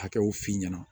Hakɛw f'i ɲɛna